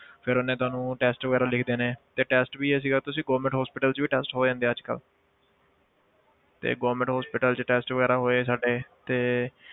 ਫਿਰ ਉਹਨੇ ਤੁਹਾਨੂੰ test ਵਗ਼ੈਰਾ ਲਿਖ ਦੇਣੇ ਤੇ test ਵੀ ਇਹ ਸੀਗਾ ਤੁਸੀਂ government hospital 'ਚ ਵੀ test ਹੋ ਜਾਂਦੇ ਆ ਅੱਜ ਕੱਲ੍ਹ ਤੇ government hospital 'ਚ test ਵਗ਼ੈਰਾ ਹੋਏ ਸਾਡੇ ਤੇ